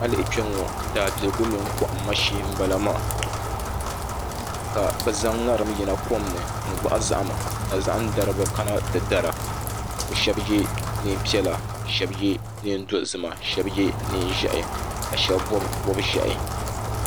A yi lihi kpɛŋŋo daabiligu mini kohamma shee n bala maa ka bi zaŋ ŋarim yina kom ni n gbahi zahama ka zaham daribi kana ti dara bi shab yɛ neen piɛla shab yɛ neen dozima shab yɛ neen ʒiɛhi ka shab bob bob ʒiɛhi